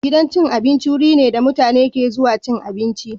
Gidan cin abinci wuri ne da mutane ke zuwa cin abinci.